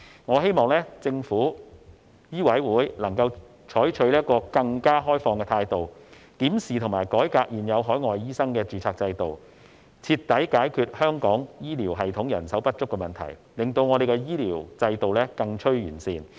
我希望政府和香港醫務委員會採取更開放的態度，檢視和改革現有海外醫生的註冊制度，徹底解決香港醫療系統人手不足的問題，令香港的醫療制度更趨完善。